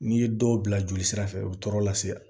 N'i ye dɔw bila joli sira fɛ o bɛ tɔɔrɔ lase yan